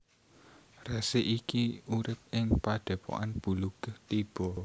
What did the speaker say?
Resi iki urip ing Padhépokan Bluluktiba